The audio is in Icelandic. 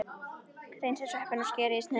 Hreinsið sveppina og skerið í sneiðar.